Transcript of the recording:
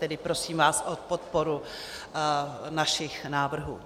Tedy prosím vás o podporu našich návrhů.